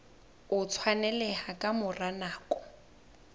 o tshwaneleha ka mora nako